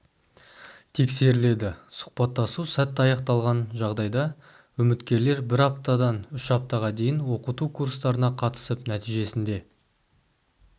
тексеріледі сұхбаттасу сәтті аяқталған жағдайда үміткерлер бір аптадан үш аптаға дейін оқыту курстарына қатысып нәтижесінде